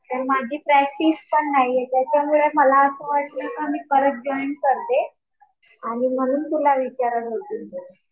तर माझी प्रॅक्टिस पण नाहीये. त्याच्यामुळे मला असं वाटतंय का मी परत जॉईन करते आणि म्हणून तुला विचारत होते.